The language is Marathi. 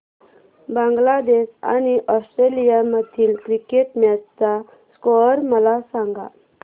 बांगलादेश आणि ऑस्ट्रेलिया मधील क्रिकेट मॅच चा स्कोअर मला सांगा